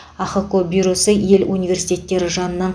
ахқо бюросы ел университеттері жанынан